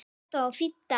Þetta var fínn dagur.